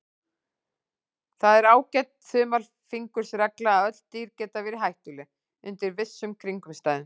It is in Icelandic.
Það er ágæt þumalfingursregla að öll dýr geta verið hættuleg undir vissum kringumstæðum.